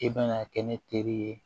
E bɛna kɛ ne teri ye